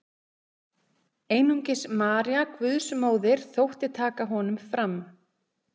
Einungis María Guðsmóðir þótti taka honum fram.